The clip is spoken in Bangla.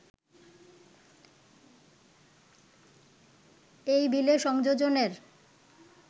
এই বিলে সংযোজনের